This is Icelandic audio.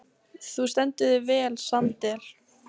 Þú stendur þig vel, Sandel!